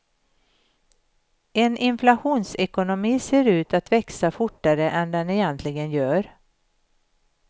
En inflationsekonomi ser ut att växa fortare än den egentligen gör.